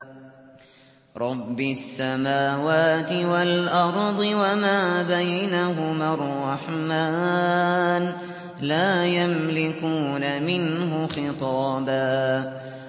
رَّبِّ السَّمَاوَاتِ وَالْأَرْضِ وَمَا بَيْنَهُمَا الرَّحْمَٰنِ ۖ لَا يَمْلِكُونَ مِنْهُ خِطَابًا